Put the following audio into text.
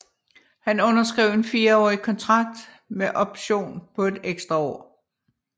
Han underskrev en fireårig kontrakt med option på et ekstra år